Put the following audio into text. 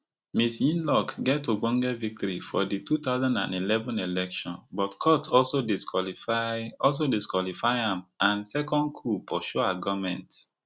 ms yingluck get ogbonge victory for di two thousand and eleven election but court also disqualify also disqualify am and second coup pursue her goment